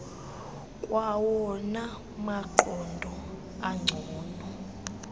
kwawona maqondo angcono